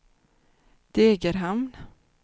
Degerhamn